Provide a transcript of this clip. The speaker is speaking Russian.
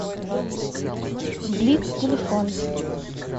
блиц телефон